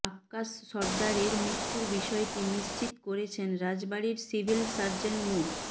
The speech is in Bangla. আক্কাস সরদারের মৃত্যুর বিষয়টি নিশ্চিত করেছেন রাজবাড়ীর সিভিল সার্জন মো